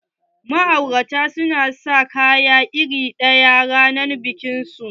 Ma'auratan sun sa kaya iri ɗaya ranar bikin su.